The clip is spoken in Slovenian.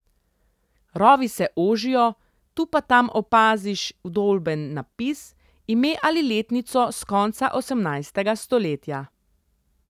Rovi se ožijo, tu pa tam opaziš vdolben napis, ime ali letnico s konca osemnajstega stoletja.